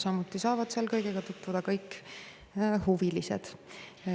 Samuti saavad seal kõigega tutvuda kõik muud huvilised.